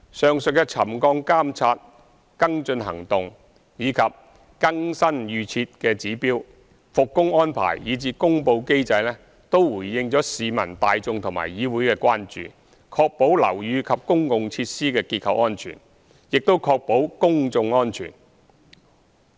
上述的沉降監察、跟進行動、更新預設指標、復工安排，以至公布機制，均是回應市民大眾和議會的關注，確保樓宇及公共設施的結構安全，亦確保公眾安全。